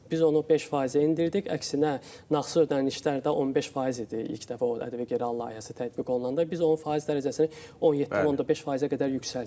Biz onu 5% endirdik, əksinə nağdsız ödənişlər də 15% idi ilk dəfə o ƏDV geri al layihəsi tətbiq olunanda, biz onun faiz dərəcəsini 17.5%-ə qədər yüksəltdik.